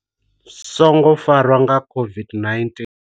Songo farwa nga songo farwa nga COVID-19.